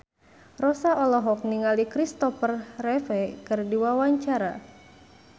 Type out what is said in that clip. Rossa olohok ningali Kristopher Reeve keur diwawancara